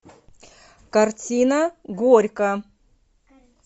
картина горько